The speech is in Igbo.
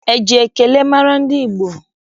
Eji ekele mara ndị Igbo?